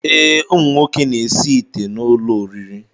Ee, ụmụnwoke na-esi ite n'ụlọoriri